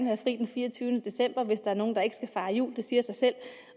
have fri den fireogtyvende december hvis der er nogle der ikke skal fejre jul det siger sig selv